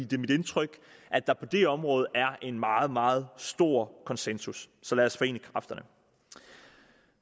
det er mit indtryk at der på det område er en meget meget stor konsensus så lad os forene kræfterne